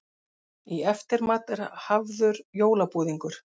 Í eftirmat er hafður jólabúðingur.